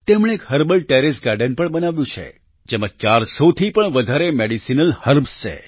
તેમણે એક herbal terrace garden પણ બનાવ્યું છે જેમાં 400 થી વધારે મેડિસિનલ હર્બ્સ છે